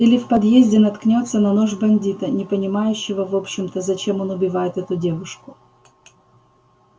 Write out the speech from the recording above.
или в подъезде наткнётся на нож бандита не понимающего в общем-то зачем он убивает эту девушку